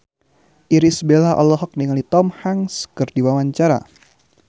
Irish Bella olohok ningali Tom Hanks keur diwawancara